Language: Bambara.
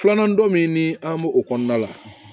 Filanan don min ni an b'o o kɔnɔna la